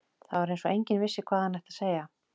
Það var eins og enginn vissi hvað hann ætti að segja.